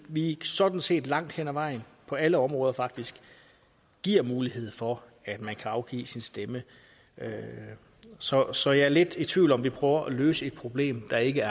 vi sådan set langt hen ad vejen på alle områder faktisk giver mulighed for at man kan afgive sin stemme så så jeg er lidt i tvivl om om vi prøver at løse et problem der ikke